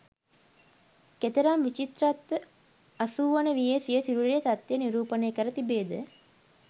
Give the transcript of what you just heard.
කෙතරම් විචිත්‍රවත්ව අසූවන වියේ සිය සිරුරේ තත්ත්වය නිරූපණය කර තිබේද?